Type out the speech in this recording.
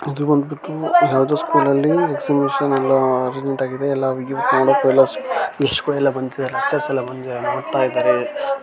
ಈದ್ ಬಂದ್ಬಿಟ್ಟು ಯಾವುದೇ ಸ್ಕೂಲಲ್ಲಿ ಎಕ್ಸಿಬಿಶನ್ ಎಲ್ಲಾ ಅರೇಂಜ್ಮೆಂಟ್ ಆಗಿದೆ ಎಲ್ಲ ನೋಡೋಕೆ ಎಲ್ಲಾ ಲೇಚರ್ಸ್ ಎಲ್ಲಾ ಬಂದಿದ್ದಾರೆ ನೋಡ್ತಾ ಇದಾರೆ.